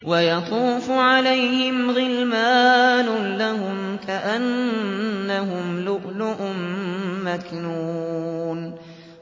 ۞ وَيَطُوفُ عَلَيْهِمْ غِلْمَانٌ لَّهُمْ كَأَنَّهُمْ لُؤْلُؤٌ مَّكْنُونٌ